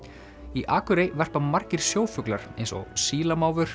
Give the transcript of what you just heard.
í Akurey verpa margir sjófuglar eins og